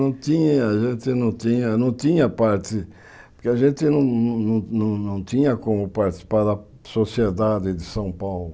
Não tinha, a gente não tinha, não tinha parte, porque a gente não não não tinha como participar da sociedade de São Paulo.